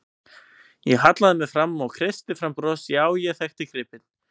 Ég hallaði mér fram og kreisti fram bros, já, ég þekkti gripinn.